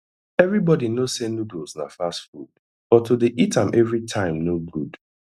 everybody knowsay noodles na fast food but to dey eat am every time no good